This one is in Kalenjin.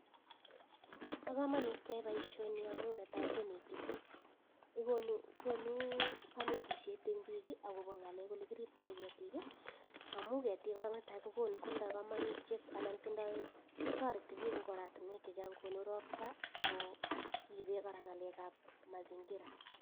Pa kamanut keyai boisionik amun netai konete piik. Gonu kanetishet en piik ako bo ng'alek ele kiripta ketik; amun ketik kotarete piik en oratinweek chechang. Konu rokta, ako ribe ng'alek ab mazingira.